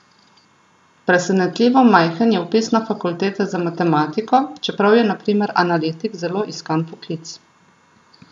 Presenetljivo majhen je vpis na fakultete za matematiko, čeprav je na primer analitik zelo iskan poklic.